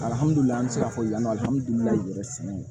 Alihamudulila an bi se k'a fɔ yani alihamudulilayi sɛnɛ